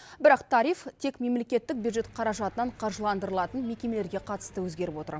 бірақ тариф тек мемлекеттік бюджет қаражатынан қаржыландырылатын мекемелерге қатысты өзгеріп отыр